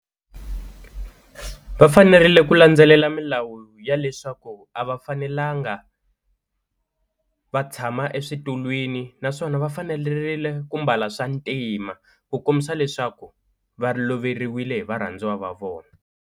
Va fanerile ku landzelela milawu ya leswaku a va fanelanga va tshama eswitulwini naswona va fanerile ku mbala swa ntima, ku kombisa leswaku va loveriwile hi varhandziwa va vona.